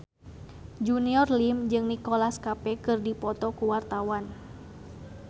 Junior Liem jeung Nicholas Cafe keur dipoto ku wartawan